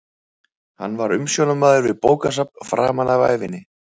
Hann var umsjónarmaður við bókasafn framan af ævinni.